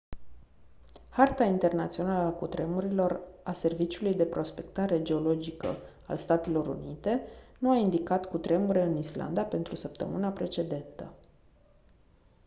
harta internațională a cutremurelor a serviciului de prospectare geologică al statelor unite nu a indicat cutremure în islanda pentru săptămâna precedentă